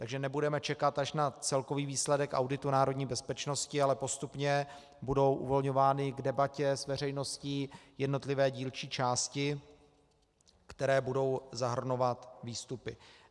Takže nebudeme čekat až na celkový výsledek auditu národní bezpečnosti, ale postupně budou uvolňovány k debatě s veřejností jednotlivé dílčí části, které budou zahrnovat výstupy.